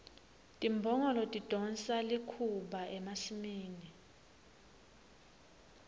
timbongolo tidonsa likhuba emasimini